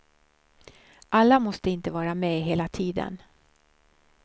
Alla måste inte vara med hela tiden.